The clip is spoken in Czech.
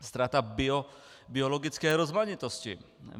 Ztráta biologické rozmanitosti.